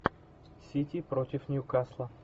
сити против ньюкасла